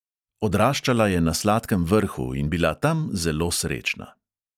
Odraščala je na sladkem vrhu in bila tam zelo srečna.